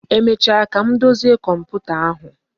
Emecha ka m dozie komputa ahụ